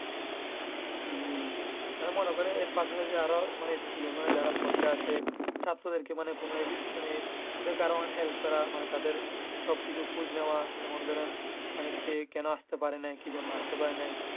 জি আমি মনে করি আর পাশা পাশি আরো school যারা পড়তে আসে ছাত্রদের কে মানে কোনো ওদের কে help করা তাদের সব কিছু খোঁজ নেওয়া। যেমন ধরেন সে কেন আসতে পারে না কি জন্যে আসতে পারে নাই।